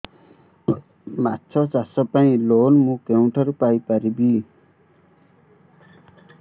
ମାଛ ଚାଷ ପାଇଁ ଲୋନ୍ ମୁଁ କେଉଁଠାରୁ ପାଇପାରିବି